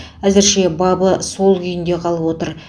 әзірше бабы сол күйінде қалып отыр